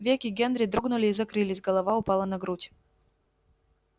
веки генри дрогнули и закрылись голова упала на грудь